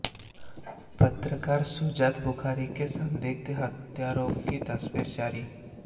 पत्रकार शुजात बुखारी के संदिग्ध हत्यारों की तस्वीर जारी